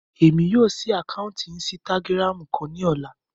Emi yóò ṣii ákáuntì Insìtágirámu kan ni ọla